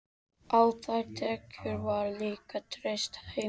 Á þær tekjur var líka treyst heima.